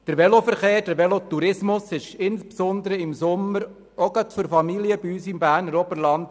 Der Velotourismus ist insbesondere im Sommer sehr wichtig, auch gerade für Familien im Berner Oberland.